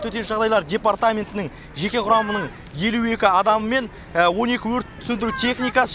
төтенше жағдайлар департаментінің жеке құрамының елу екі адамы мен он екі өрт сөндіру техникасы